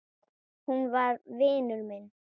Hún var vinur minn.